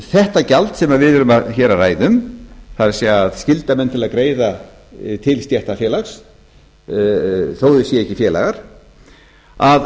þetta gjald sem við erum hér að ræða um það er að skylda menn til að greiða til stéttarfélags þó að